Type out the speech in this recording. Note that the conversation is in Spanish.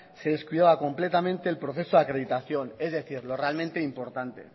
se descuidaba completamente el proceso de acreditación es decir lo realmente importante